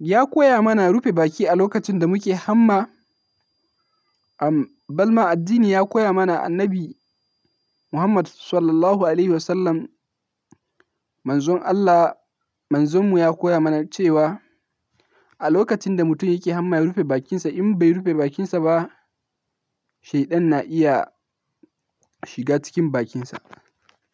ya koya mana rufe baki a lokacin da muke hamma. Balma addini ya koya mana annabi Muhammad Sallallahu Alaihi Wasallam Manzon Allah, Manzonmu ya koya mana cewa a lokacin da mutum yake hamma ya rufe bakinsa. In bai rufe bakinsa ba shaidan na iya shiga cikin bakinsa.